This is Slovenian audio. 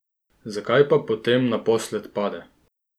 Zakaj pa potem naposled pade?